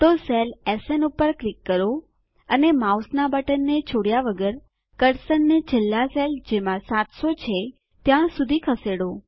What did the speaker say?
તો cell SN પર click કરો અને માઉસનાં બટનને છોડ્યા વગર કર્સરને છેલ્લા સેલ જેમાં 700 છે ત્યાં સુધી ખસેડો